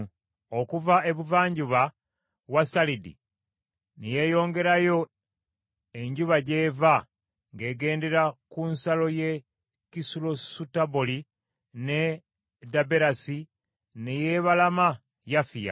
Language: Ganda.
Okuva ebuvanjuba wa Salidi ne yeeyongerayo enjuba gy’eva ng’egendera ku nsalo y’e Kisulosutaboli, ne Daberasi, ne yeebalama Yafiya.